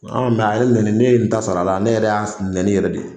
Mɛ a ye ne nɛni, ne ye n ta sara la. Ne yɛrɛ y'a nɛni de.